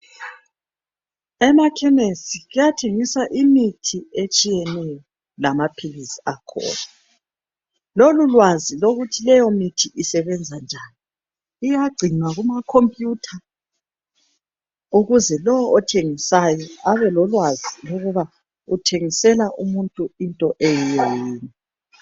Emakhemesi kuyathengiswa imithi etshiyeneyo lama philisi akhona. Lolu lwazi lokuthi leyo mithi isebenza njani. Iyagcinwa kuma khombiyutha ukuze lowo othengisayo abe lolwazi ukuba uthengisela umuntu into eyiyo yini.